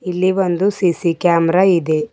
ಇಲ್ಲಿ ಒಂದು C C camera ಇದೆ.